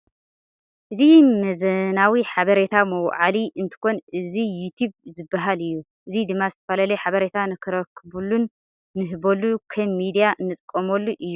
እዚ መዘናዊ ሓበረታ መውዓሊ እንትኮን እዚ ዩቲብ ዝባሃል ዩ ። እዚ ድማ ዝተፈላለዩ ሓበረታ ንረክበሉን ንህበሉ ከም ሚድያ እንጥቀመሉ እዩ ።